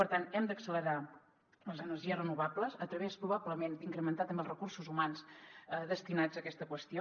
per tant hem d’accelerar les energies renovables a través probablement d’incrementar també els recursos humans destinats a aquesta qüestió